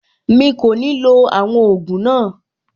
Mi kò ní lo àwọn ògùn náà.